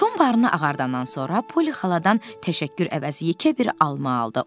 Tom barını ağardandan sonra Poli xaladan təşəkkür əvəzi yekə bir alma aldı.